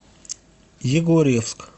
егорьевск